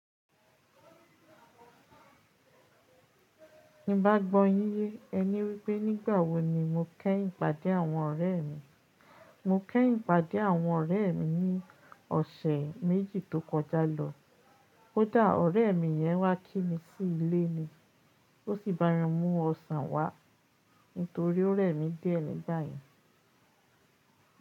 Ní bá gbọ́ yín, ẹ ní wípé nígbà wo ni mo kẹ́ ìpàdé àwọn ọ̀rẹ́ mi. Mo kẹ́yin pàdé àwọn ọ̀rẹ́ mi ní ọ̀sẹ̀ méjì tó kọjá lọ. Ó dà ọ̀rẹ́ mi yẹn wá kí mi sí ilé ni, ó sì bá mi mú ọsàn wá, nítorí ó rẹ̀ mí díẹ̀ nígbà yẹn.